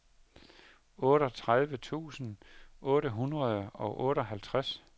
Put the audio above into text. otteogtredive tusind otte hundrede og otteoghalvtreds